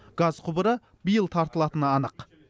газ құбыры биыл тартылатыны анық